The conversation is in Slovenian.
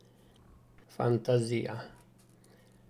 Fantazija!